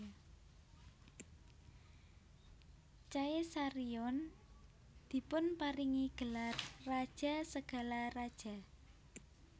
Caesarion dipunparingi gelar Raja segala Raja